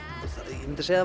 ég myndi segja